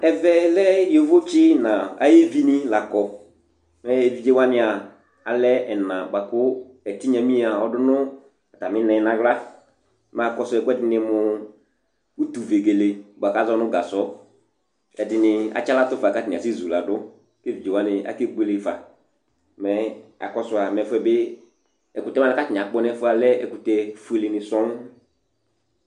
Ɛvɛ lɛ yovotsi nu ayuvini la kɔ Mɛ evidzewania alɛ ɛna buaku ɛtinyamia ɔdu nu atami ina nu aɣla Mɛ akɔsu ɛku ɛdini mu utuvegele buaku azɔ nu gasɔ Ɛdini atsaɣlatu bataa ati zuladu Ku evidzewani akebuele fa Mɛ akɔsua mɛ ɛfuɛ bi ɛkutɛ ku atawani akpɔ nu ɛfuɛ lɛ ɛkutɛ fueleni sɔŋ